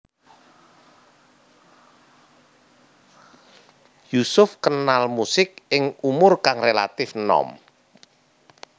Yusuf kenal musik ing umur kang relatif nom